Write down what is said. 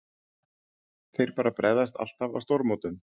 Þeir bara bregðast alltaf á stórmótum.